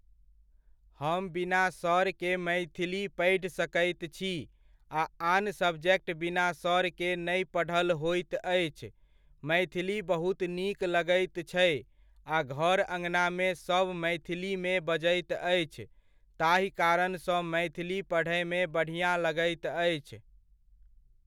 हम बिना सर के मैथिली पढ़ि सकैत छी आ आन सब्जेक्ट बिना सर के नहि पढ़ल होइत अछि, मैथिली बहुत नीक लगैत छै आ घर अङनामे सब मैथिलीमे बजैत अछि ताहि कारणसँ मैथिली पढयमे बढ़िऑं लगैत अछि।